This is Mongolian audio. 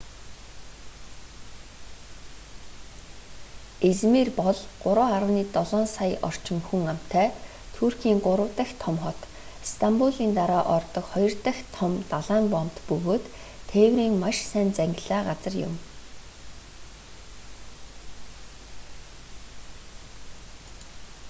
измир бол 3,7 сая орчим хүн амтай туркийн гурав дахь том хот стамбулын дараа ордог хоёр дахь том далайн боомт бөгөөд тээврийн маш сайн зангилаа газар юм